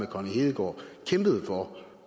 connie hedegaard kæmpede for